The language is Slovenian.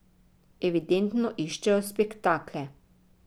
Evidentno iščejo spektakle.